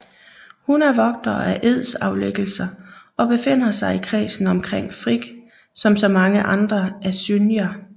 Hun er vogter af edsaflæggelser og befinder sig i kredsen omkring Frigg som så mange andre asynjer